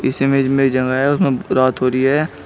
इस इमेज में जगह है उसमें रात हो रही है।